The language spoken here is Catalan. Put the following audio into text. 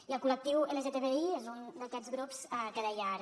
i el col·lectiu lgtbi és un d’aquests grups que deia ara